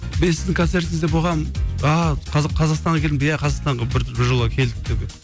мен сіздің концертіңізде болғанмын ааа қазақстанға келдің бе ааа иә қазақстанға біржола келдік деді